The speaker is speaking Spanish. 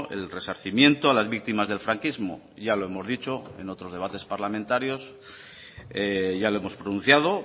el resarcimiento a las víctimas del franquismo ya lo hemos dicho en otros debates parlamentarios ya lo hemos pronunciado